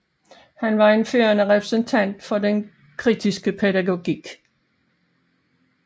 Han var en førende repræsentant for den kritiske pædagogik